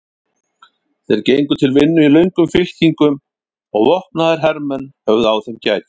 Þeir gengu til vinnu í löngum fylkingum og vopnaðir hermenn höfðu á þeim gætur.